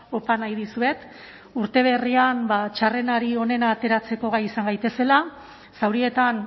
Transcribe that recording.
opa nahi dizuet urte berrian txarrenari onena ateratzeko gai izan gaitezela zaurietan